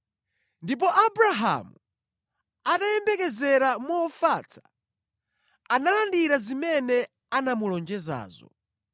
Ndipo Abrahamu atayembekezera mofatsa, analandira zimene anamulonjezazo.